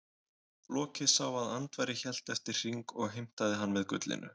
Loki sá að Andvari hélt eftir hring og heimtaði hann með gullinu.